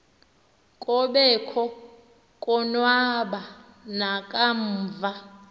kobekho konwaba nakamva